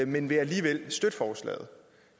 men vil alligevel støtte forslaget